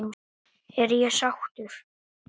Er ég sáttur?